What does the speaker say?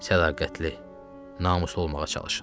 Sədaqətli, namuslu olmağa çalışın.